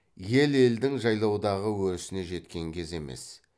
ел елдің жайлаудағы өрісіне жеткен кезі емес